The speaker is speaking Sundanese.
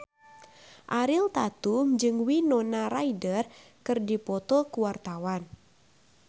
Ariel Tatum jeung Winona Ryder keur dipoto ku wartawan